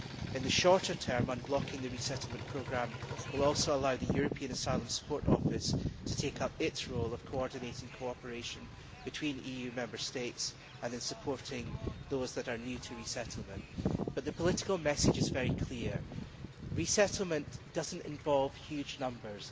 In the shorter term unblocking the resettlement programme will also allow the European Asylum Support Office to take up its role of coordinating cooperation between EU Member States and in supporting those that are new to resettlement, but the political message is very clear resettlement does not involve huge numbers